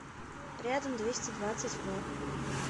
рядом двести двадцать в